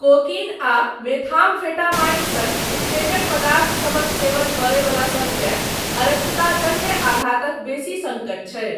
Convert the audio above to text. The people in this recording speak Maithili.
कोकीन आ मेथामफेटामाइन सन उत्तेजक पदार्थसभक सेवन करयवलासबकेँ अरक्तताजन्य आघातक बेसी सङ्कट छै।